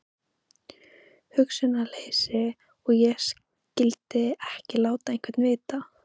Hugsunarleysi að ég skyldi ekki láta einhvern vita.